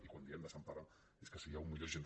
i quan diem desempara és que si hi ha un mil sis cents